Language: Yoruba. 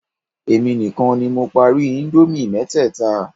Èmi nìkan ni mo parí íńdómì mẹ́tẹ̀ẹ̀ta.